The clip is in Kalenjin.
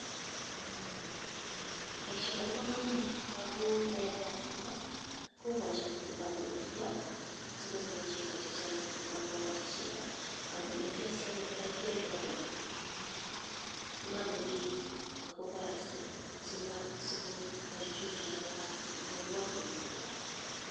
Boishoni kobokomonut amun baetab tukaa kokochin tukaa konerio asikokon tukaa cheko chechang tukaa kokos chekoo ak konerio sindo kioldoi konome beit ak ko kora sima sikochuchuch ngalekab mionwokik en tukaa.